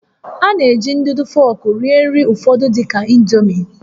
A na-eji ndụdụ fọọkụ rie nri ụfọdụ dị ka indomie